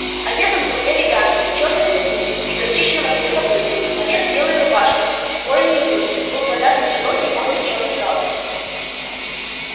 одет он был элегантно в чёрный сюртук и горчичного цвета брюки поверх белой рубашки с плоёной грудью был повязан широкий модный чёрный галстук